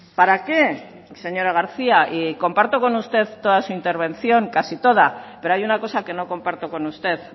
para qué señora garcía y comparto con usted toda su intervención casi toda pero hay una cosa que no comparto con usted